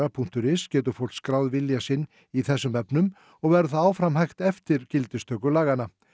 punktur is getur fólk skráð vilja sinn í þessum efnum og verður það áfram hægt eftir gildistöku laganna